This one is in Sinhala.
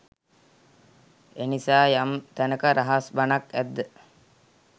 එනිසා යම් තැනක රහස් බණක් ඇද්ද